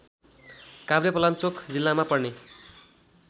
काभ्रेपलाञ्चोक जिल्लामा पर्ने